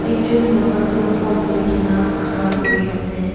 ekjun mota tu phone lui gina khara kuri ase.